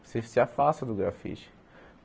Você se afasta do grafite.